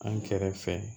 An kɛrɛfɛ